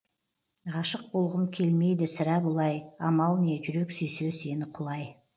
ғашық болғым келмейді сірә бұлай амал не жүрек сүйсе сені құлай